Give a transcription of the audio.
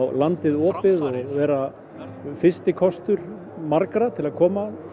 landið opið og vera fyrsti kostur margra til að koma og